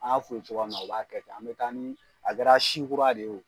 An y'a f'u ye cogoya mun na u b'a kɛ ten an bɛ taa ni a kɛra si kura de ye